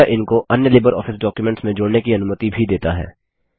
यह इनको अन्य लिबरऑफिस डॉक्युमेंट्स में जोड़ने की अनुमति भी देता है